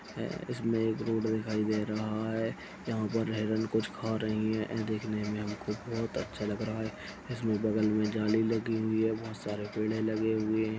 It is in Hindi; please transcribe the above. इसमें एक रोड दिखाई दे रहा है यहाँ पर हेरण कुछ खा रही हैं ए देखने में बहुत अच्छा लग रहा है इसमें बगल में जाली लगी हुई है बहुत सारे पेडे लगे हुए--